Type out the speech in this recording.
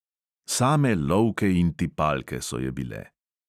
Same lovke in tipalke so je bile.